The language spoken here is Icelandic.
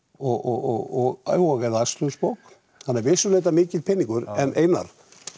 og og eða akstursbók þannig að vissulega er þetta mikill peningur en Einar